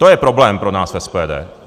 To je problém pro nás v SPD.